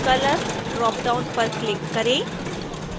color dropdown पर click करें